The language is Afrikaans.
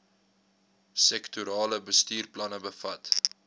sektorale bestuursplanne bevat